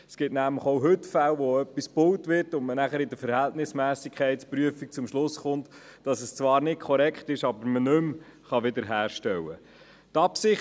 Es gibt nämlich auch heute Fälle, in denen etwas gebaut wird und dann kommt die Verhältnismässigkeitsprüfung zum Schluss, dass es zwar nicht korrekt ist, aber nicht mehr wiederhergestellt werden kann.